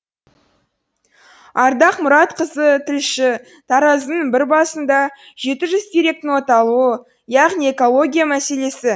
ардақ мұратқызы тілші таразының бір басында жеті жүз теректің оталуы яғни экология мәселесі